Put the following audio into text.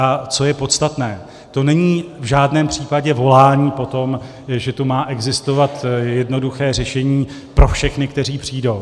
A co je podstatné, to není v žádném případě volání po tom, že tu má existovat jednoduché řešení pro všechny, kteří přijdou.